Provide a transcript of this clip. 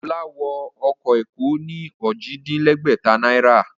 Ọlá wọ ọmọ Èkó ní Ojì-dín-lẹ́gbẹ̀ta náírà